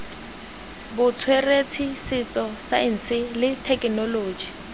botsweretshi setso saense le thekenoloji